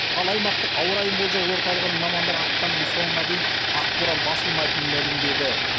ал аймақтық ауа райын болжау орталығының мамандары ақпанның соңына дейін ақборан басылмайтынын мәлімдеді